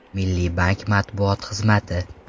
Milliy bank matbuot xizmati.